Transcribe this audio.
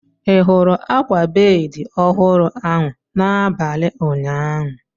Ị hụrụ akwa bedị ọhụrụ ahụ n'abalị ụnyaahụ?